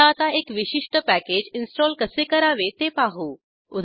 चला आता एक विशिष्ट पॅकेज इन्स्टॉल कसे करावे ते पाहू